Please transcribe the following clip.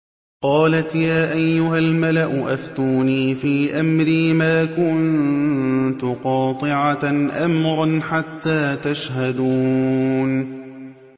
قَالَتْ يَا أَيُّهَا الْمَلَأُ أَفْتُونِي فِي أَمْرِي مَا كُنتُ قَاطِعَةً أَمْرًا حَتَّىٰ تَشْهَدُونِ